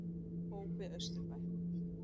Hópi Austurbæ